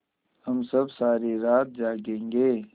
हम सब सारी रात जागेंगे